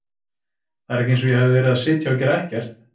Það er ekki eins og ég hafi verið að sitja og gera ekkert.